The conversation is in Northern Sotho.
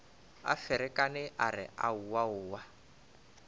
a ferekane a re aowaowa